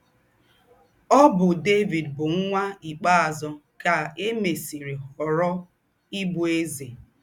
Ọ́ bụ́ Dévìd bụ́ nwạ́ ikpēazụ́ kà è mésìrì họ̀rọ̀ íbụ̀ èzè.